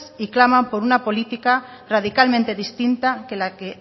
y claman por una política radicalmente distinta que